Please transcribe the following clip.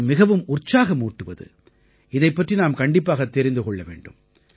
இது மிகவும் உற்சாகமூட்டுவது இதைப் பற்றி நாம் கண்டிப்பாகத் தெரிந்து கொள்ள வேண்டும்